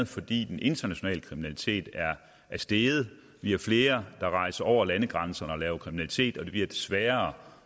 fordi den internationale kriminalitet er steget vi har flere der rejser over landegrænserne og laver kriminalitet og det bliver sværere